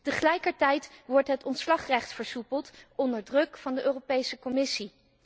Tegelijkertijd wordt het ontslagrecht versoepeld onder druk van de Europese Commissie.